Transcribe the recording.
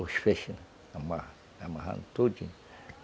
Os feixes amarram, amarando tudinho.